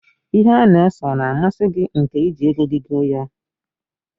Ihe a na-ese ọ na amasi gi nke iji ego gi goo ya?